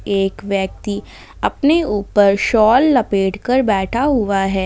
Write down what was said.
एक व्यक्ति अपने ऊपर साल लपेट कर बैठा हुआ है।